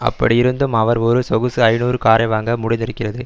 அப்படியிருந்தும் அவர் ஒரு சொகுசு ஐநூறு காரைவாங்க முடிந்திருக்கிறது